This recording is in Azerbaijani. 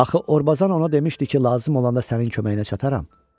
Axı Orbazan ona demişdi ki, lazım olanda sənin köməyinə çataram.